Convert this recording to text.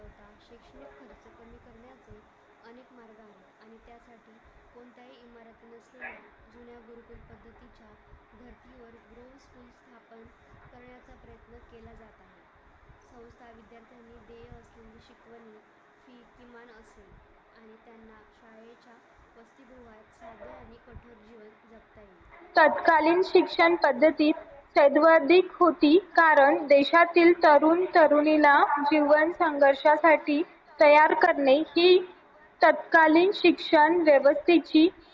तत्कालीन शिक्षण पद्धतीत सर्वाधिक होती कारण देशातील तरुण तरुणीला तयार करणे ही तत्कालीन शिक्षण व्यवस्थेची